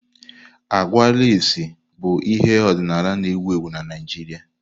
Àgwà lasii bụ ihe ọdịnala na-ewu ewu na Naijiria.